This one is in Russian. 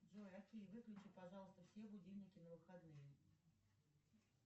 джой окей выключи пожалуйста все будильники на выходные